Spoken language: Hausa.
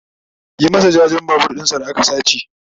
Yi masa jajen Babur ɗinshi da aka sace!